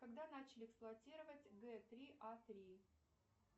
когда начали эксплуатировать г три а три